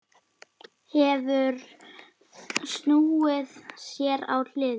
Hefur snúið sér á hliðina.